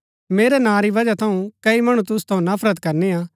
मेरै नां री बजहा थऊँ कई मणु तूसु थऊँ नफरत करनी हा